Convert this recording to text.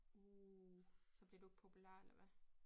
Uh så blev du ikke populær eller hvad